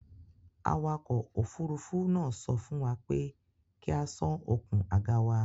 Awakọ̀ òfurufú náà sọ fún wa pé kí a sán okùn àga wa.